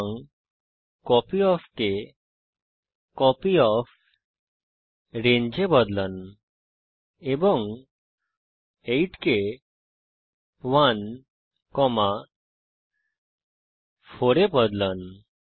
সুতরাং কপিওফ কে কপিওফ্রেঞ্জ এ বদলান এবং 8 কে 1 4 এ পরিবর্তন করুন